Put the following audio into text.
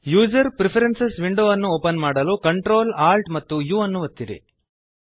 user preferences window ಅನ್ನು open ಮಾಡಲು Ctrl Alt amp U ಒತ್ತಿರಿ